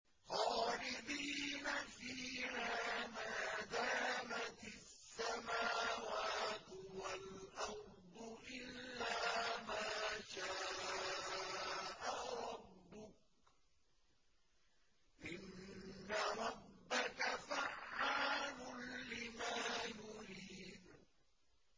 خَالِدِينَ فِيهَا مَا دَامَتِ السَّمَاوَاتُ وَالْأَرْضُ إِلَّا مَا شَاءَ رَبُّكَ ۚ إِنَّ رَبَّكَ فَعَّالٌ لِّمَا يُرِيدُ